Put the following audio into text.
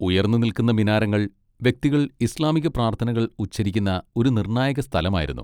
ഉയർന്നുനിൽക്കുന്ന മിനാരങ്ങൾ വ്യക്തികൾ ഇസ്ലാമിക പ്രാർത്ഥനകൾ ഉച്ചരിക്കുന്ന ഒരു നിർണായക സ്ഥലമായിരുന്നു.